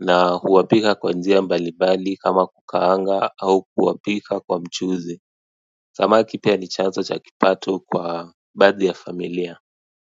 na huwapika kwa njia mbalimbali kama kukaanga au kuwapika kwa mchuzi samaki pia ni chanzo cha kipato kwa baadhi ya familia.